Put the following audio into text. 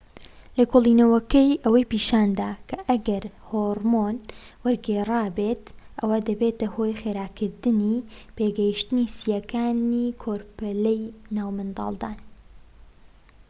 لێکۆڵینەوەکەی ئەوەی پیشاندا کە ئەگەر هۆڕمۆن وەرگیرابێت ئەوا دەبێتە هۆی خێراکردنی پێگەشتنی سییەکانی کۆرپەلەی ناو منداڵدان